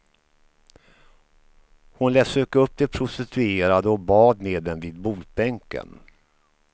Hon lät söka upp de prostituerade och bad med dem vid botbänken.